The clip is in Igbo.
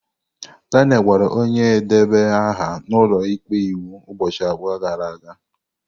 Daniel gwara onye na-edeba aha n'ụlọ ikpe okwu ụbọchị abụọ gara aga.